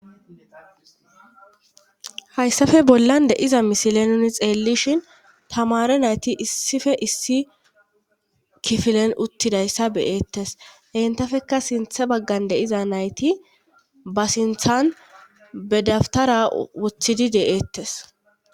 hayssafe bollan de7iza misile nuni xeellishin tamare nayti issife issi kifilen uttidayssa beyeettes entafeka sinthe baggan deiza nayti ba sinthan bedaftara wothidi deeettes